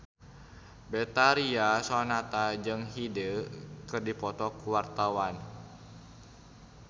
Betharia Sonata jeung Hyde keur dipoto ku wartawan